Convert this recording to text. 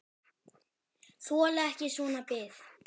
Þoli ekki svona bið.